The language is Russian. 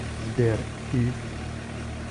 сбер ив